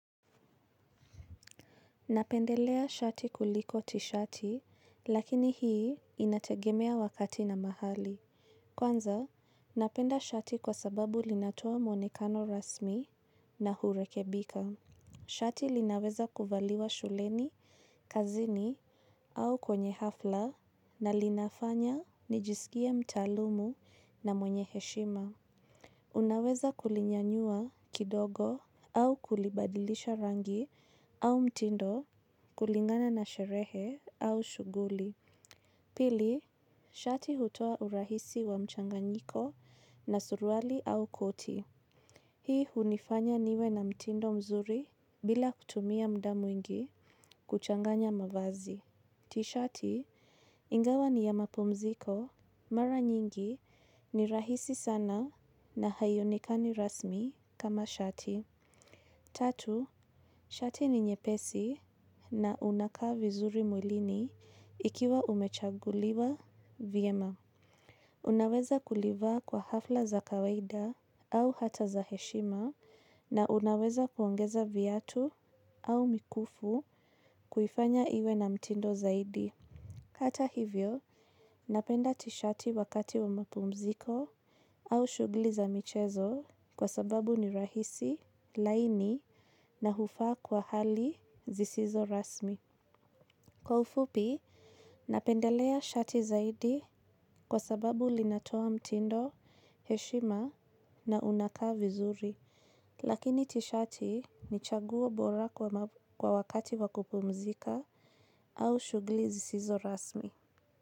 Napendelea shati kuliko tishati, lakini hii inategemea wakati na mahali. Kwanza, napenda shati kwa sababu linatoa mwonekano rasmi na hurekebika. Shati linaweza kuvaliwa shuleni, kazini au kwenye hafla na linafanya nijisikie mtaalumu na mwenye heshima. Unaweza kulinyanyua kidogo au kulibadilisha rangi au mtindo kulingana na sherehe au shuguli. Pili, shati hutoa urahisi wa mchanganyiko na suruali au koti. Hii hunifanya niwe na mtindo mzuri bila kutumia muda mwingi kuchanganya mavazi. Tishati ingawa ni ya mapumziko, mara nyingi ni rahisi sana na haionekani rasmi kama shati. Tatu, shati ni nyepesi na unakaa vizuri mwilini ikiwa umechaguliwa vyema. Unaweza kulivaa kwa hafla za kawaida au hata za heshima na unaweza kuongeza viatu au mikufu kuifanya iwe na mtindo zaidi. Kata hivyo, napenda tishati wakati wa mapumziko au shughuli za michezo kwa sababu ni rahisi, laini na hufaa kwa hali zisizo rasmi. Kwa ufupi, napendelea shati zaidi kwa sababu linatoa mtindo, heshima na unakaa vizuri. Lakini tishati ni chaguo bora kwa wakati wa kupumzika au shugli zisizo rasmi.